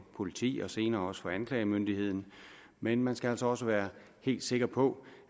politiet og senere også for anklagemyndigheden men man skal altså også være helt sikker på